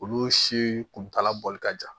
Olu si kuntaala bɔli ka jan